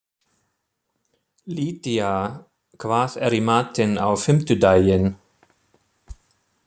Lydía, hvað er í matinn á fimmtudaginn?